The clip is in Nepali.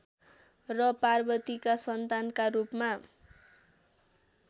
र पार्वतीका सन्तानका रूपमा